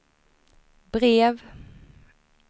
brev